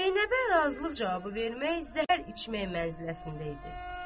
Zeynəbə razılıq cavabı vermək zəhər içmək mənziləsində idi.